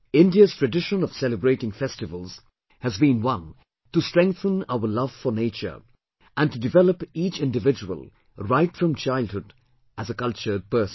India's tradition of celebrating festivals has been one to strengthen our love for nature and to develop each individual, right from childhood, as a cultured person